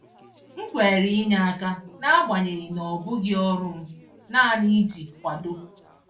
M kwere inye aka, n’agbanyeghị na ọ bụghị ọrụ m, naanị iji kwado.